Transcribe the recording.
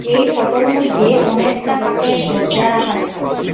এই ফোটোর মইধ্যে অনেকটা খাটের দরজা রাখা দেখা যার--